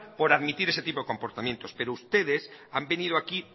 por admitir ese tipo de comportamientos pero ustedes han venido aquí